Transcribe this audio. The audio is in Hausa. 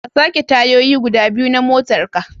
Ka sake tayoyi guda biyu na motarka.